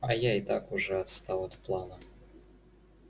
а я и так уже отстал от плана